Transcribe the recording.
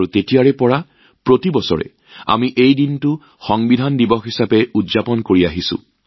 আৰু তেতিয়াৰ পৰা প্ৰতি বছৰে আমি এই দিনটো সংবিধান দিৱস হিচাপে পালন কৰি আহিছো